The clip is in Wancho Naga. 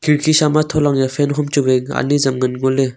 nikhi sa ma thola fan hom chu wai anyi ajam ngan ngo le.